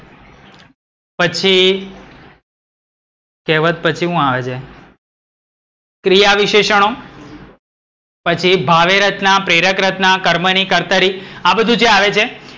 પછી, કહેવત પછી હું આવે છે? ક્રિયા વિશેષણો. પછી ભાવે રચના, પ્રેરક રચના, કર્મની, કર્તરી આ બધુ જે આવે છે.